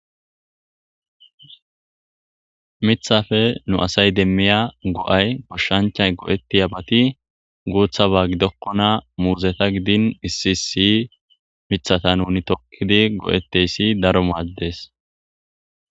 Mithafe nu asay demmiya go'ay boshshanchay go'etti a bati guutha ba gidokkona muuzeta gidin issiisi mithata nuni tokkidi go'etteyssi daro maddes.